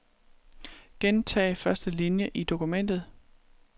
Gentag første linie i dokumentet.